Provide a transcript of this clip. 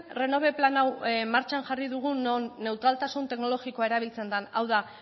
renove plan hau martxan jarri dugun non neutraltasun teknologikoa erabiltzen den hau da